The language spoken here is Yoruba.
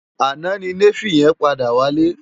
Àná ni Néfi yèn pàdá wálé